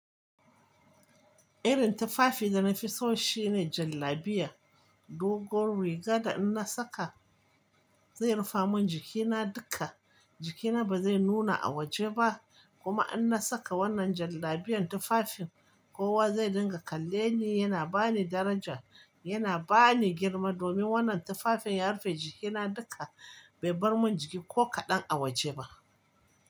Irin tufafi da na fi so shine jallabiya. Dogon riga da in na saka zai rufa mun jikina duka. Jikina ba zai nuna a waje ba kuma in na saka wannan jallabiyan tufafin kowa zai dinga kalle ni. Yana ba ni daraja, yana ba ni girma domin wannan tufafin ya rufe jikina duka bai bar mun jiki ko kaɗan a waje ba.